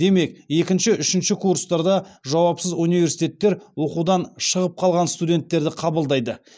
демек екінші үшінші курстарда жауапсыз университеттер оқудан шығып қалған студенттерді қабылдайды